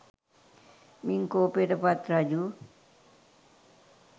මින් කෝපයට පත් රජු